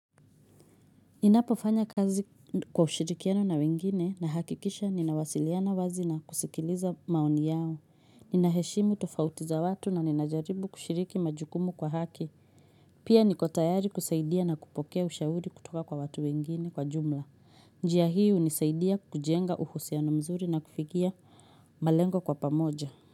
Ninapofanya kazi kwa ushirikiano na wengine nahakikisha ninawasiliana wazi na kusikiliza maoni yao. Ninaheshimu tofauti za watu na ninajaribu kushiriki majukumu kwa haki. Pia niko tayari kusaidia na kupokea ushahuri kutoka kwa watu wengine kwa jumla. Njia hii hunisaidia kujenga uhusiano mzuri na kufikia malengo kwa pamoja.